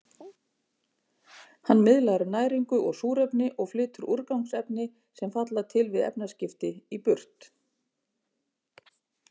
Hann miðlar næringu og súrefni og flytur úrgangsefni, sem falla til við efnaskipti, í burt.